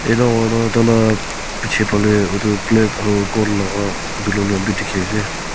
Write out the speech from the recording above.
jatte hoile tar laga piche phale etu black aru gold laga balloon bhi dekhi ase.